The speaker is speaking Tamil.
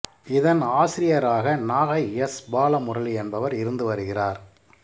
இதன் ஆசிரியராக நாகை எஸ் பாலமுரளி என்பவர் இருந்து வருகிறார்